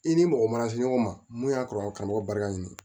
I ni mɔgɔ mana se ɲɔgɔn ma mun y'a kɔrɔ karamɔgɔ barika ɲini